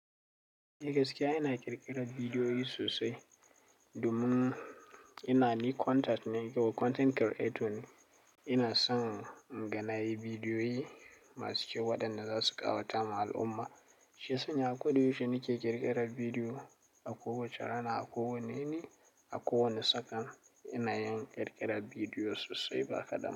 Ni gaskiya ina ƙirƙirar bidiyoyi sosai, domin ina ni content, content creator ne. Ina son inga nayi bidiyoyi masu kyau waɗanda za su ƙawata ma al'umma. Shiya sanya ko da yaushe nake ƙirƙirar bidiyo, a kowace rana, a kowane ni a kowane sak'an ina yin ƙirƙirar bidiyo sosai ba kaɗan ba.